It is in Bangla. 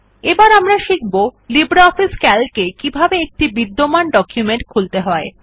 এবার আমরা শিখব লিব্রিঅফিস সিএএলসি এ কিভাবে একটি বিদ্যমান ডকুমেন্ট খুলতে হয়